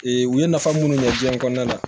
Ee u ye nafa munnu ɲɛ diɲɛ kɔnɔna na